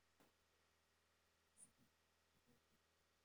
Waxay u koraan si siman marka loo eego ilmaha.